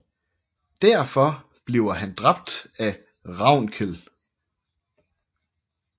Derfor bliver han dræbt af Ravnkel